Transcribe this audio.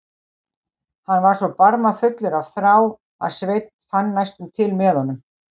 Hann var svo barmafullur af þrá að Sveinn fann næstum til með honum.